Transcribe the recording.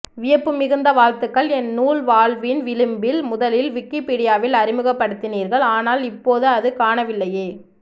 வியப்பு மிகுந்த வாழ்த்துகள் என் நூல் வாழ்வின் விளிம்பில் முதலில் விக்கிபீடியாவில் அறிமுகப் படுத்தினீர்கள் ஆனால் இப்போது அது காணவில்லையே